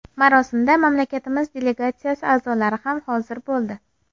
Marosimda mamlakatimiz delegatsiyasi a’zolari ham hozir bo‘ldi.